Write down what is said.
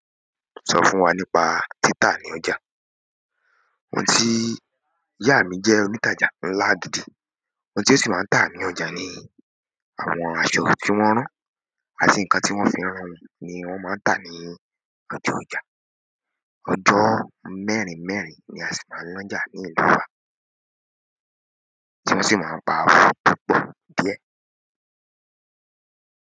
Sọ fún wa nípa títà ní ọjà. Òun ti ìyá mi jẹ́ onítàjà ńlá gidi, oun tí o ṣì máa ń tà ní ọjà ni àwọn aṣọ tí wọ́n rán, àti ǹkan tí wọ́n fi rán wọn ni wọ́n máa ń tà ní ojú ọjà. Ọjọ́ mẹ́rin mẹ́rin ni a sì máa ń naja ní ìlú wa, tí wọ́n sì máa ń ta aṣọ púpọ̀ díẹ̀.